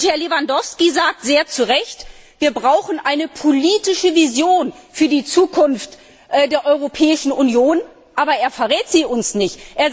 Und Herr Lewandowski sagt sehr zu Recht Wir brauchen eine politische Vision für die Zukunft der Europäischen Union. Aber er verrät sie uns nicht.